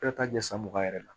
Ka taa ɲɛ san mugan yɛrɛ la